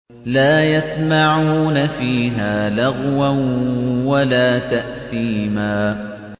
لَا يَسْمَعُونَ فِيهَا لَغْوًا وَلَا تَأْثِيمًا